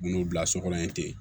N'o bila so kɔnɔ yen ten